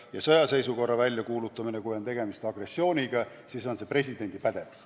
Ja sõjaseisukorra väljakuulutamine, kui on tegemist agressiooniga, on presidendi pädevuses.